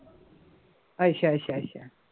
ਅੱਛਾ ਅੱਛਾ ਅੱਛਾ